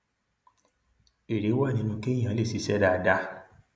èrè wà nínú kéèyàn lè ṣiṣẹ dáadáa